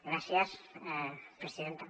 gràcies presidenta